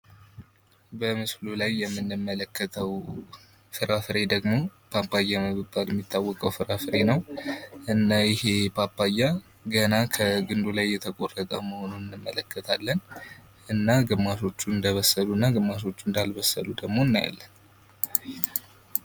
በምስሉ ላይ የምንመለከተው ፍራፍሬ ደግሞ ፓፓያ በመባል የሚታወቅ ፍራፍሬ ነው። እና ይሄ ፓፓያ ገና ከግንዱ ላይ እየተቆረጠ መሆኑን እንመለከታለን እና ግማሾቹ እንደበሰሉ እና ግማሾች ደግሞ እንዳልበሰሉ እናያለን።